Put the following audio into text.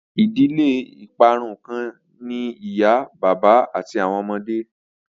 Idile iparun kan ni iya baba ati awọn ọmọde